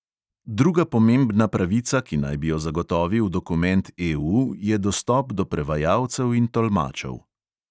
Druga pomembna pravica, ki naj bi jo zagotovil dokument EU, je dostop do prevajalcev in tolmačev.